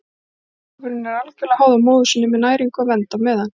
Kálfurinn er algjörlega háður móður sinni með næringu og vernd á meðan.